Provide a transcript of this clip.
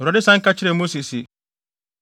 Awurade san ka kyerɛɛ Mose se,